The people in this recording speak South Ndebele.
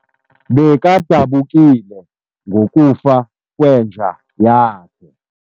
Bekadabukile ngokufa kwenja yakhe.